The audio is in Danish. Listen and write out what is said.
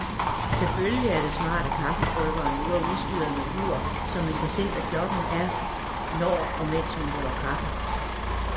Selvfølgelig er det smart, at kaffebryggeren nu er udstyret med ur, så man kan se, hvad klokken er, når og mens man laver kaffe.